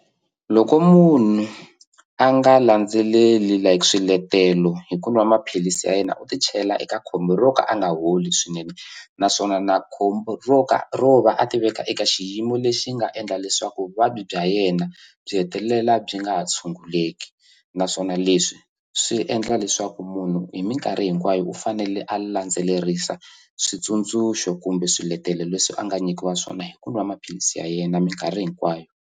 Loko munhu a nga landzeleli like swiletelo hi ku nwa maphilisi ya yena u ti chela eka khombo ro ka a nga holi swinene naswona na khombo ro ka ro va a ti veka eka xiyimo lexi nga endla leswaku vuvabyi bya yena byi hetelela byi nga ha tshunguleki naswona leswi swi endla leswaku munhu hi minkarhi hinkwayo u fanele a landzelerisa switsundzuxo kumbe swiletelo leswi a nga nyikiwa swona hi ku nwa maphilisi ya yena minkarhi hinkwayo.